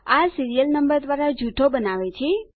આ serial number દ્વારા જૂથો બનાવે છે